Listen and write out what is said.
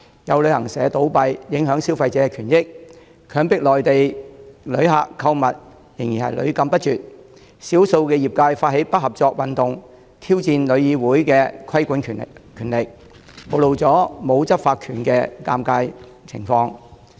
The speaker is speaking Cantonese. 有旅行社倒閉，消費者的權益因而受損。強迫內地旅客購物屢禁不絕。少數業界人士發起不合作運動，挑戰香港旅遊業議會的規管權力，暴露了旅議會沒有執法權的尷尬情況。